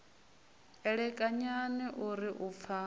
elekanyani o ri u pfa